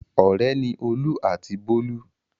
Ọ̀rẹ́ ni Olú àti Bólú.